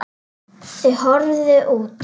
Þau horfðu út.